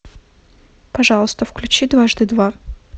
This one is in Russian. пожалуйста включи дважды два